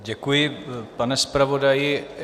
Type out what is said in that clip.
Děkuji, pane zpravodaji.